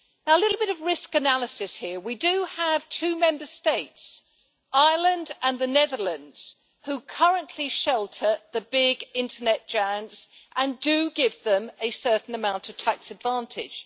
A little bit of risk analysis here we do have two Member States, Ireland and the Netherlands, who currently shelter the big internet giants and who do give them a certain amount of tax advantage.